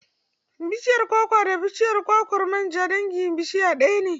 Bashiyar kwakwa da bishiyar kwakwar manja dangin bishiya ɗaya ne.